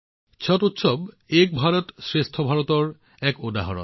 ছট উৎসৱ এক ভাৰতশ্ৰেষ্ঠ ভাৰতৰ এক উদাহৰণ